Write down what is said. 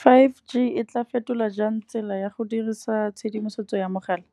Five G e tla fetola jang tsela ya go dirisa tshedimosetso ya mogala,